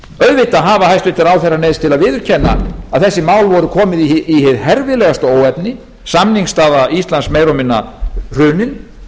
auðvitað hafa hæstvirtir ráðherrar neyðst til að viðurkenna að þessi mál voru komin í hið herfilegasta óefni samningsstaða íslands meira og minna hrunin